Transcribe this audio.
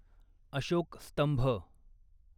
अशोक स्तंभ